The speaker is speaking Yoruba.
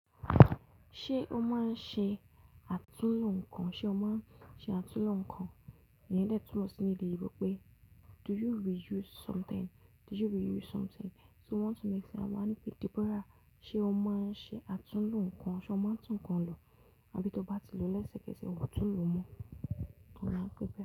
Ṣé o máa ń ṣe àtúnlo nǹkan? Ṣé o máa ń ṣe àtúnlo nǹkan? Ìyen de tún mo sí ní edé eyinbo pé "do you reuse something"? Do you reuse something? So we want to make sure máa ní pé Deborah, ṣe o máa ń ṣe àtúnlo nǹkan? Ṣé o máa ń tún nǹkan lọ àbí tó bá ti lò lẹ́sẹ̀kẹsẹ̀, ò tún un lò mọ́? Òun á pé bẹ́ẹ̀